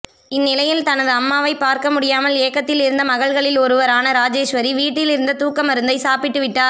இந்நிலையில் தனது அம்மாவை பார்க்க முடியாமல் ஏக்கத்தில் இருந்த மகள்களில் ஒருவரான ராஜேஸ்வரி வீட்டில் இருந்த தூக்க மருந்தை சாப்பிட்டுவிட்டார்